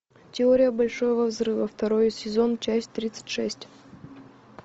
теория большого взрыва второй сезон часть тридцать шесть